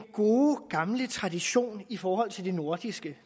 gode gamle tradition i forhold til det nordiske